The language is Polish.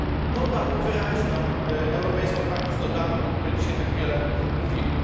To dało wyraźną europejską wartość dodaną, o której dzisiaj tak wiele mówimy.